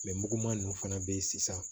muguman ninnu fana bɛ yen sisan